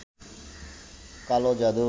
কালো জাদু